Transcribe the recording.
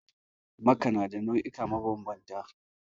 Maka na da nau'ika mabanbanta